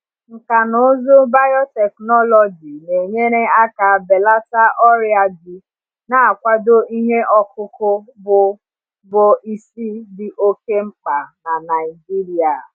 Nkà na ụzụ biotechnology na-enyere aka belata ọrịa ji, na-akwado ihe ọkụkụ bụ bụ isi dị oke mkpa na Naijiria.